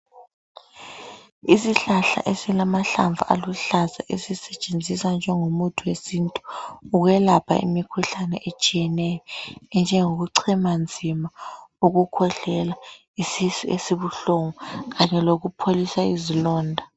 Isihlahla esilamahlamvu aluhlaza esisetshenziswa njengomuthi wesintu ukwelapha imikhuhlane etshiyeneyo, enjengokuchema nzima, ukukhwehlela, isisu esibuhlungu kanye lokupholisa izilonda.